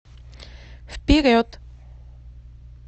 вперед